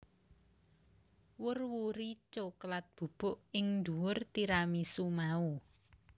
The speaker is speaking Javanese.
Wur wuri coklat bubuk ing dhuwur tiramisu mau